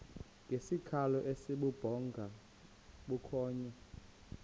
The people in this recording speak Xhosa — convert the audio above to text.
ngesikhalo esibubhonga bukhonya